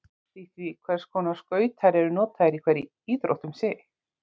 Þetta endurspeglast allt í því hvers konar skautar eru notaðir í hverri íþrótt um sig.